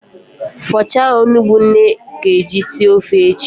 Fọchaa onugbu nne ga-eji sie ofe echi!